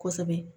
Kosɛbɛ